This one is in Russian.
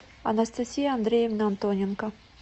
анастасия андреевна антоненко